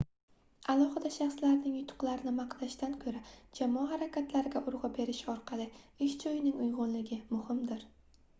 alohida shaxslarning yutuqlarini maqtashdan koʻra jamoa harakatlariga urgʻu berish orqali ish joyining uygʻunligi muhumdir